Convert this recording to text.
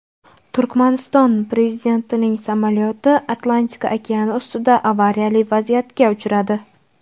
Turkmaniston prezidentining samolyoti Atlantika okeani ustida avariyali vaziyatga uchradi.